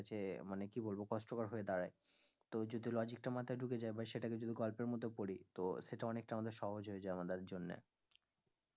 মানে কি বলবো কষ্টকর হয়ে দাঁড়ায় তো যদি logic টা মাথায় ঢুকে যায় বা সেটাকে যদি গল্পের মত পড়ি তো সেটা অনেকটা আমাদের সহজ হয়ে যায় আমাদের জন্যে